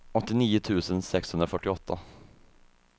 åttionio tusen sexhundrafyrtioåtta